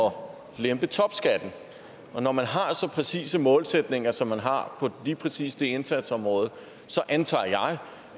om at lempe topskatten når man har så præcise målsætninger som man har på lige præcis det indsatsområde så antager jeg